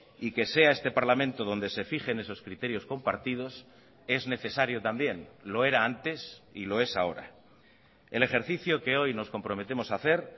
y que sea este parlamento donde se fijen esos criterios compartidos es necesario también lo era antes y lo es ahora el ejercicio que hoy nos comprometemos a hacer